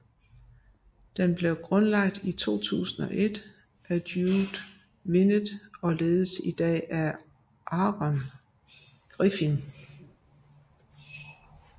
Den blev grundlagt i 2001 af Judd Vinet og ledes i dag af Aaron Griffin